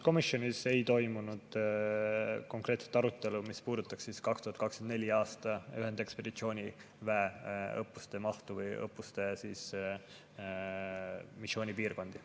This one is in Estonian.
Komisjonis ei toimunud konkreetset arutelu, mis puudutaks 2024. aasta ühendekspeditsiooniväe õppuste mahtu või õppuste missioonipiirkondi.